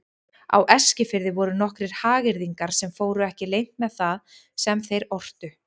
Á Eskifirði voru nokkrir hagyrðingar sem fóru ekki leynt með það sem þeir ortu.